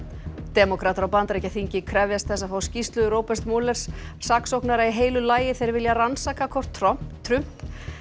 demókratar á Bandaríkjaþingi krefjast þess að fá skýrslu Roberts saksóknara í heilu lagi þeir vilja rannsaka hvort Trump Trump